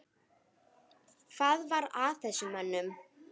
Hvað var að þessum mönnum?